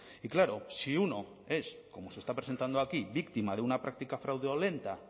y claro si uno es como se está presentando aquí víctima de una práctica fraudulenta